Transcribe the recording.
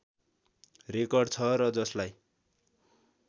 record छ र जसलाई